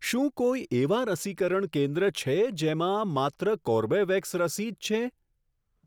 શું કોઈ એવાં રસીકરણ કેન્દ્ર છે જેમાં માત્ર કોર્બેવેક્સ રસી જ છે?